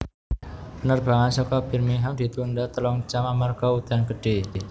Penerbangan seko Birmingham ditunda telung jam amarga udan gede